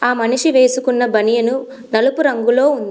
ఆ మనిషి వేసుకున్న బనియన్ నలుపు రంగులో ఉంది.